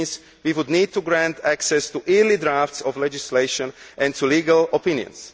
It means we would need to grant access to early drafts of legislation and to legal opinions.